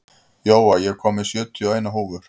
Jóa, ég kom með sjötíu og eina húfur!